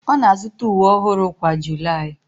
Ọ na-azụta uwe ọhụrụ kwa July